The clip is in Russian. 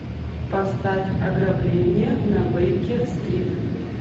поставь ограбление на бейкер стрит